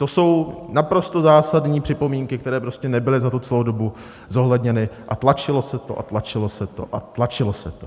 To jsou naprosto zásadní připomínky, které prostě nebyly za tu celou dobu zohledněny, a tlačilo se to a tlačilo se to a tlačilo se to.